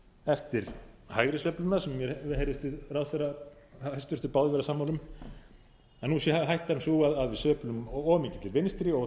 eftir hægri sveifluna sem mér heyrðist við ráðherra hæstvirtrar báðir vera sammála um að nú sé hættan sú að við sveiflumst of mikið til vinstri og